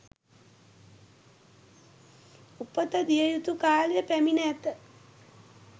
උපත දිය යුතු කාලය පැමිණ ඇත